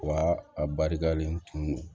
Wa a barikalen tun